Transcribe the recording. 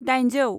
दाइनजौ